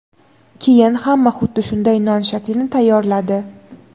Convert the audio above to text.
Keyin hamma xuddi shunday non shaklini tayyorladi.